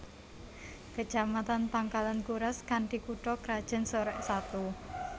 Kecamatan Pangkalan Kuras kanthi kutha krajan Sorek Satu